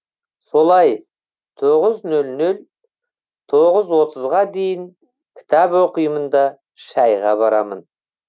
солай тоғыз нөл нөлден тоғыз отызға дейін кітап оқимын да шәйға барамын